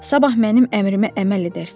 Sabah mənim əmrimə əməl edərsən.